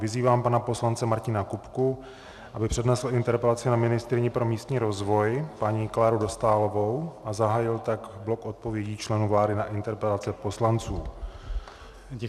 Vyzývám pana poslance Martina Kupku, aby přednesl interpelaci na ministryni pro místní rozvoj paní Kláru Dostálovou a zahájil tak blok odpovědí členů vlády na interpelace poslanců.